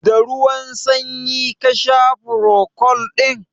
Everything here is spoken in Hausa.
Da ruwan sanyi ka sha furocold ɗin?